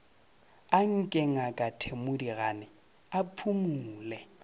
anke ngaka thedimogane a phumole